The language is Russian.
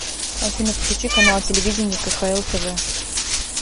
афина включи канал телевидения кхл тв